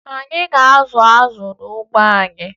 Anyị ga-azụ azụ n'ugbo anyị